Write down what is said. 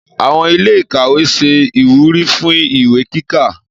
Àwon ilé ìkàwé se ìwúrí fún ìwé kíkà